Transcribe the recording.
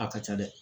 A ka ca dɛ